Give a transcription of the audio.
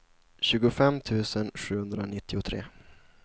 tjugofem tusen sjuhundranittiotre